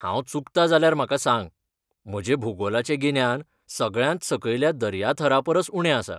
हांव चुकता जाल्यार म्हाका सांग, म्हजें भूगोलाचें गिन्यान सगळ्यांत सकयल्या दर्याथरापरस उणें आसा.